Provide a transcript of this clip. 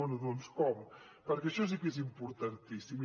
bé doncs com perquè això sí que és importantíssim